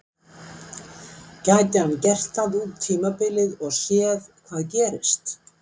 Gæti hann gert það út tímabilið og séð hvað gerist?